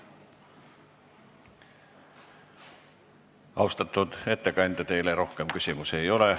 Austatud ettekandja, teile rohkem küsimusi ei ole.